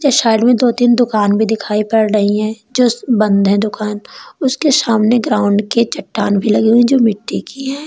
और साइड में दो तीन दुकान भी दिखाई पड़ रही हैं जो बंद हैं दुकान उसके सामने ग्राउंड के चट्टान भी लगे हुए जो मिट्टी की है।